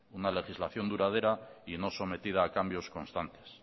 una legislación duradera y no sometida a cambios constantes